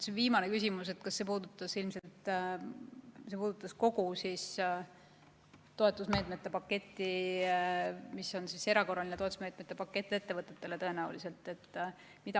See viimane küsimus puudutas ilmselt kogu seda erakorraliste toetusmeetmete paketti ettevõtetele.